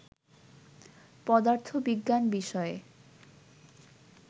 পদার্থবিজ্ঞান বিষয়ে